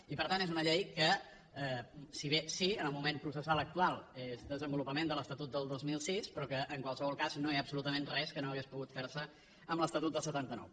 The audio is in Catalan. i per tant és una llei que si bé sí en el moment processal actual és desenvolupament de l’estatut de dos mil sis però que en qualsevol cas no hi ha absolutament res que no hagués pogut fer se amb l’estatut del setanta nou